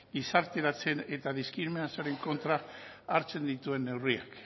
gizarteratzen eta diskriminazioaren kontra hartzen dituen neurriak